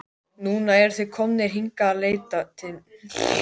Núna eru þeir komnir hingað að leita mín.